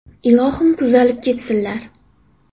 Ilohim, tez tuzalib ketsinlar.